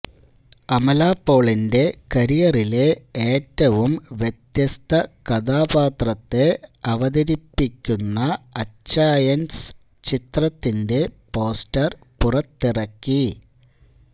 അമല പോളിന്റെ കരിയറിലെ ഏറ്റവും വ്യത്യസ്ത കഥാപാത്രത്തെ അവതരിപ്പിക്കുന്ന അച്ചായന്സ് ചിത്രത്തിന്റെ പോസ്റ്റര് പുറത്തിറക്കി